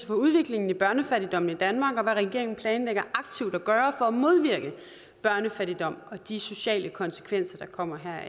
for udviklingen i børnefattigdom i danmark og for hvad regeringen planlægger aktivt at gøre for at modvirke børnefattigdom og de sociale konsekvenser der kommer